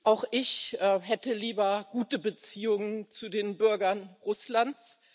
Auch ich hätte lieber gute Beziehungen zu den Bürgern Russlands.